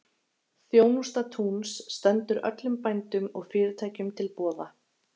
Þjónusta Túns stendur öllum bændum og fyrirtækjum til boða.